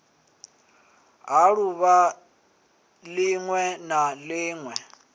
ha ḓuvha ḽiṅwe na ḽiṅwe